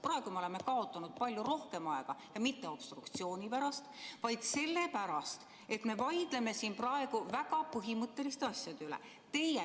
Praegu me oleme kaotanud palju rohkem aega ja mitte obstruktsiooni pärast, vaid sellepärast, et me vaidleme siin praegu väga põhimõtteliste asjade üle.